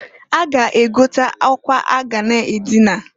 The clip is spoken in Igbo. A ga -egote akwa a ga na adịna.